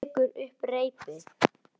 Hún tekur upp reipið.